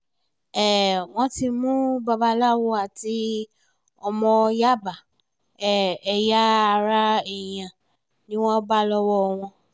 um wọ́n ti mú babaláwo àti ọmọ yàbá um ẹ̀yà ara èèyàn ni wọ́n bá lọ́wọ́ wọn